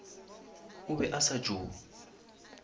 o be a sa tšo